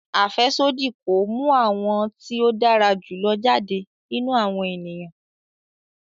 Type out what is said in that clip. Afẹsodi ko mu awọn ti o dara julọ jade ninu awọn eniyan